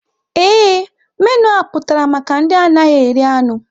Ee, menu a pụtara maka ndị anaghị eri anụ.